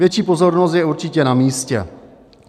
Větší pozornost je určitě na místě.